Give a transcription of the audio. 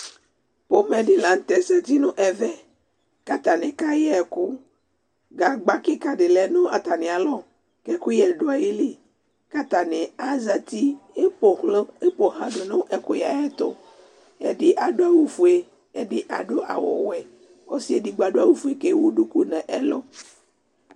ƒomɛ di lantɛ zati no ɛvɛ k'atani kayɛ ɛkò gagba keka di lɛ no atamialɔ k'ɛkoyɛ do ayili ko atani azati eƒoɣla do no ɛkoyɛ ayɛto ɛdi ado awu fue ɛdi ado awu wɛ k'ɔse edigbo ado awu fue k'ewu duku n'ɛlò